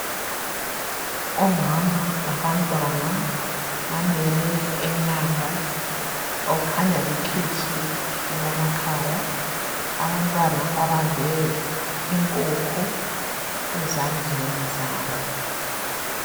Omama labantwana bamele emnyango okhanya likhitshi elamakhaya..Abantwana babambe inkukhu ezandleni zabo.